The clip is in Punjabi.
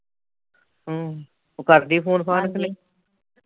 ਹਮਮ ਉਹ ਕਰਦੀ ਫੋਨ ਫਾਨ ਕਿ ਨਹੀ